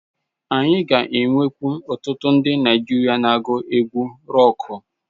Anyị ga-enwekwu ọtụtụ ndi Naijiria na-agu egwu rọkụ.